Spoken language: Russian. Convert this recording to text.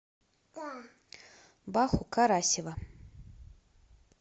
баху карасева